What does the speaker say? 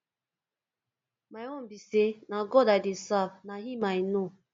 my own be say na god i dey serve na him i know